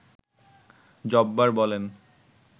জব্বার বলেন